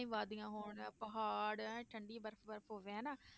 ਵਾਦੀਆਂ ਹੋਣ ਪਹਾੜ ਐਂ ਠੰਢੀ ਬਰਫ਼ ਬਰਫ਼ ਹੋਵੇ ਹਨਾ।